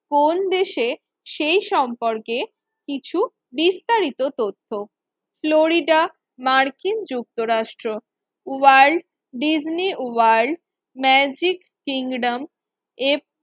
কোন দেশে সেই সম্পর্কে কিছু বিস্তারিত তথ্য। ফ্লোরিডা মার্কিন যুক্তরাষ্ট্র ওয়ার্ল্ড ডিজনি ওয়ার্ল্ড ম্যাজিক কিংডমের